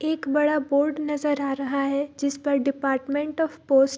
एक बड़ा बोर्ड नजर आ रहा है जिसपर डिपार्टमेंट ऑफ़ पोस्ट --